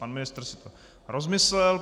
Pan ministr si to rozmyslel.